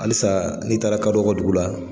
Halisa n'i taara kadɔw ka dugu la.